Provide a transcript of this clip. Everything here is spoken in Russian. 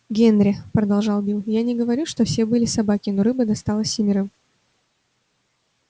генри продолжал билл я не говорю что все были собаки но рыба досталась семерым